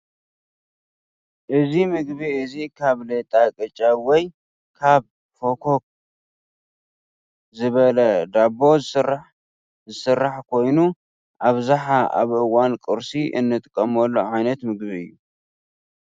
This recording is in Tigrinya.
እዚ ምግቢ እዚ ካብ ሌጣ ቅጫ ወይ ካብ ፈኮክ ዝበለ ዳቦ ዝስራሕ ዝስራሕ ኮይኑ ኣብዝሓ ኣብ እዋን ቁርሲ እንጥቀመሉ ዓይነት ምግቢ እዩ።